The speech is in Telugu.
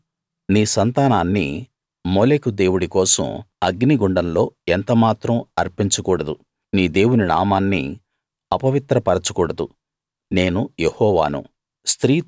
నీవు నీ సంతానాన్ని మోలెకు దేవుడి కోసం అగ్నిగుండంలో ఎంత మాత్రం అర్పించకూడదు నీ దేవుని నామాన్ని అపవిత్ర పరచకూడదు నేను యెహోవాను